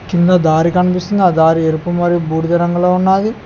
కింద దారి కనిపిస్తుంది ఆ దారి ఎరుపు మరి బూడిద రంగులో ఉన్నాది.